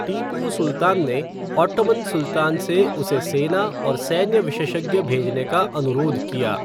टीपू सुल्तान ने ओट्टोमान सुल्तान से उसे सेना और सैन्य विशेषज्ञ भेजने का अनुरोध किया।